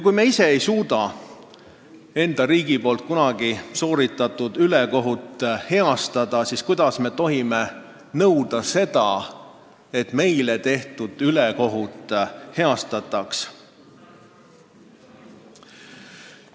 Kui me ise ei suuda oma riigi kunagi tehtud ülekohut heastada, siis kuidas me tohime nõuda seda, et meile tehtud ülekohut heastataks.